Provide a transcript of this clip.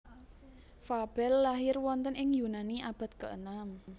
Fabel lahir wonten ing Yunani abad keenem